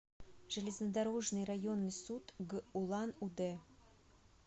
железнодорожный районный суд г улан удэ